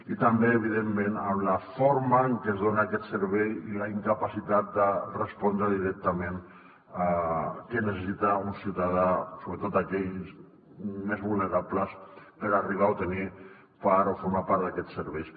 i també evidentment la forma en què es dona aquest servei i la incapacitat de respondre directament què necessita un ciutadà sobretot aquells més vulnerables per arribar a tenir o per formar part d’aquests serveis